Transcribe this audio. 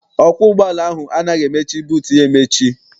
Ọkwọ ụgbọala ahụ anaghị emechi buutu ya emechi.